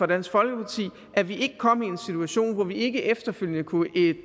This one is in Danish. dansk folkeparti at vi ikke kom i en situation hvor vi ikke efterfølgende kunne